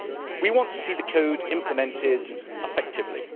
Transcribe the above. We want to see the code implemented effectively.